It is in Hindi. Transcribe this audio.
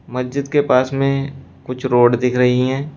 मस्जिद के पास में कुछ रोड दिख रही हैं।